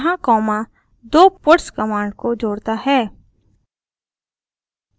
यहाँ कॉमा दो puts command को जोड़ता है